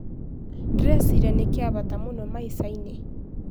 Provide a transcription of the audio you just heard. Ndĩreciria nĩ gĩa bata mũno maica-inĩ.